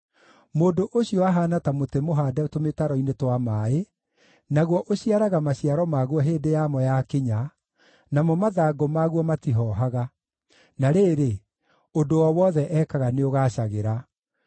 Mũndũ ũcio ahaana ta mũtĩ mũhaande tũmĩtaro-inĩ twa maaĩ, naguo ũciaraga maciaro maguo hĩndĩ ya mo yakinya, namo mathangũ maguo matihoohaga. Na rĩrĩ, ũndũ o wothe ekaga nĩũgaacagĩra.